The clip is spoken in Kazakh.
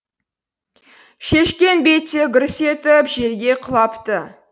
шешкен бетте гүрс етіп жерге құлапты